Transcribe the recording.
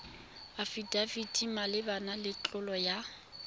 afidafiti malebana le tlolo ya